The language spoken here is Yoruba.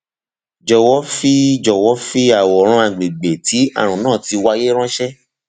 jọwọ fi jọwọ fi àwòrán àgbègbè tí ààrùn náà ti wáyé ránṣẹ